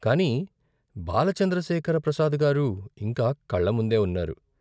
కాని బాల చంద్రశేఖర ప్రసాద్ గారు ఇంకా కళ్ళముందే ఉన్నారు.